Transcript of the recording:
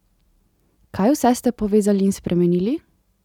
Kaj vse ste povezali in spremenili?